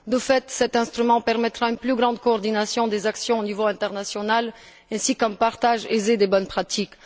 De fait, cet instrument permettra une plus grande coordination des actions au niveau international ainsi qu'un partage aisé des bonnes pratiques.